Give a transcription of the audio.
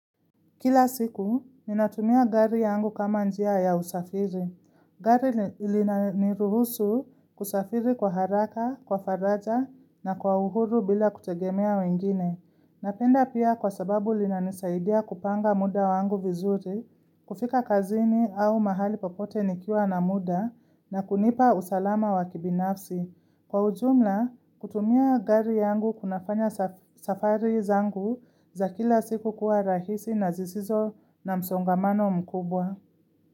Kila siku, ninatumia gari yangu kama njia ya usafiri. Gari lina niruhusu kusafiri kwa haraka, kwa faraja na kwa uhuru bila kutegemea wengine. Napenda pia kwa sababu linanisaidia kupanga muda wangu vizuri, kufika kazini au mahali papote nikiwa na muda na kunipa usalama wakibinafsi. Kwa ujumla, kutumia gari yangu kunafanya safari zangu za kila siku kuwa rahisi na zisizo na msongamano mkubwa.